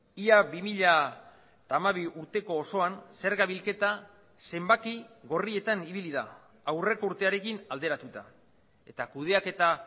ia bi mila hamabi urteko osoan zerga bilketa zenbaki gorrietan ibili da aurreko urtearekin alderatuta eta kudeaketa